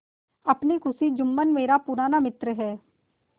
अपनी खुशी जुम्मन मेरा पुराना मित्र है